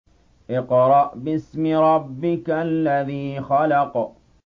اقْرَأْ بِاسْمِ رَبِّكَ الَّذِي خَلَقَ